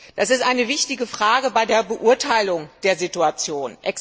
Das ist eine wichtige Frage bei der Beurteilung der Situation.